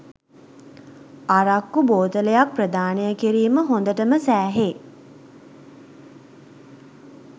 අරක්කු බෝතලයක් ප්‍රදානය කිරීම හොඳටම සෑහේ